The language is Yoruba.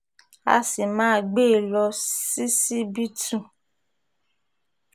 a sì máa gbé e lọ sí síbítù